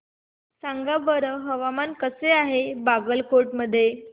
सांगा बरं हवामान कसे आहे बागलकोट मध्ये